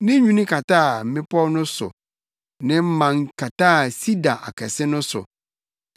Ne nwini kataa mmepɔw no so ne mman kataa sida akɛse no so.